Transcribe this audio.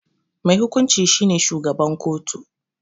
Mai hukunci shi ne shugaban kotu.